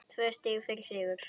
Tvö stig fyrir sigur